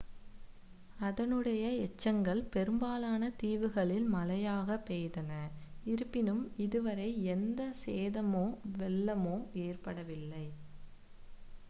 அதனுடைய எச்சங்கள் பெரும்பாலான தீவுகளில் மழையாக பெய்தன இருப்பினும் இதுவரை எந்த சேதமோ வெள்ளமோ ஏற்படவில்லை